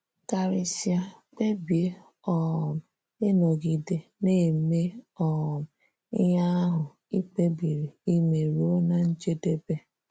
Karịsịa, kpebie um ịnọgide na - eme um ihe ahụ i kpebiri ime ruo ná njedebe.